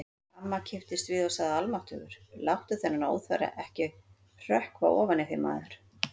Amma kipptist við og sagði: Almáttugur, láttu þennan óþverra ekki hrökkva ofan í þig, maður